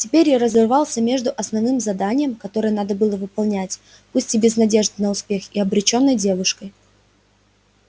теперь я разрывался между основным заданием которое надо было выполнять пусть и без надежды на успех и обречённой девушкой